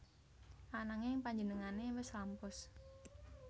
Ananging panjenengané wis lampus